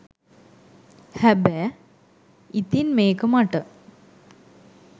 හැබෑ ඉතින් මේක මට